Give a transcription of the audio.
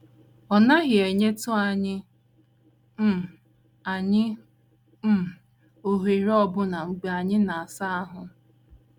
Ọ naghị enyetụ anyị um anyị um ohere ọbụna mgbe anyị na - asa ahụ́. ”